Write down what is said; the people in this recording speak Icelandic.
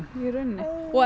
og